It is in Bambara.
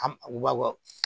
A u b'a bɔ